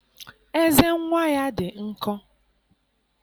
Eze nnwa ya dị nkọ